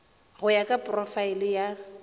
go ya ka porofaele ya